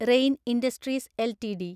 rain Industries LTD